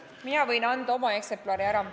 Mina võin oma eksemplari ära anda.